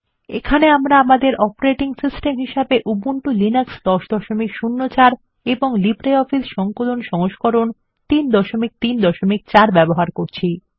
এখানে আমরা আমাদের অপারেটিং সিস্টেম হিসেবে উবুন্টু লিনাক্স 1004 এবং লিব্রিঅফিস সংকলন সংস্করণ 334 ব্যবহার করছি